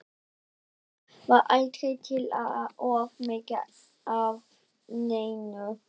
En heima var aldrei til of mikið af neinu.